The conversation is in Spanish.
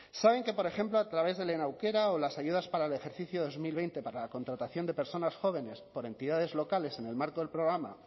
saben que por ejemplo a través de lehen aukera o las ayudas para el ejercicio dos mil veinte para la contratación de personas jóvenes por entidades locales en el marco del programa